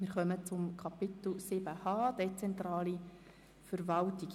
Wir kommen zum Themenblock 7.h Dezentrale Verwaltung.